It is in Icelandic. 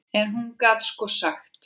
En hún gat sko sagt.